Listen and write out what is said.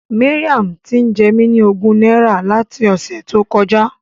Mariam ń jẹ mí ní ogún náírà láti ọ̀sẹ̀ tó kọjá.